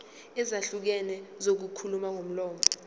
ezahlukene zokuxhumana ngomlomo